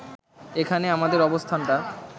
এখানে আমাদের অবস্থানটা